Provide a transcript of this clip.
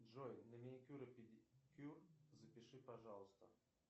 джой на маникюр и педикюр запиши пожалуйста